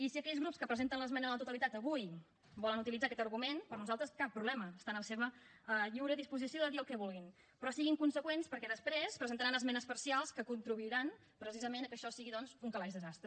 i si aquells grups que presenten l’esmena a la totalitat avui volen utilitzar aquest argument per nosaltres cap problema està en la seva lliure disposició de dir el que vulguin però siguin consegüents perquè després hi presentaran esmenes parcials que contribuiran precisament al fet que això sigui doncs un calaix de sastre